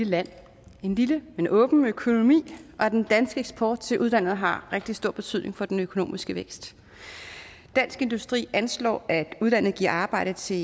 land en lille men åben økonomi og den danske eksport til udlandet har rigtig stor betydning for den økonomiske vækst dansk industri anslår at udlandet giver arbejde til